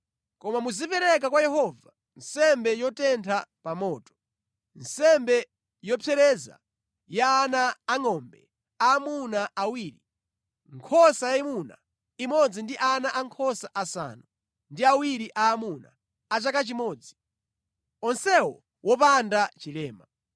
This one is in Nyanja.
Koma muzipereka kwa Yehova nsembe yotentha pa moto, nsembe yopsereza ya ana angʼombe aamuna awiri, nkhosa yayimuna imodzi ndi ana ankhosa asanu ndi awiri aamuna a chaka chimodzi, onsewo wopanda chilema.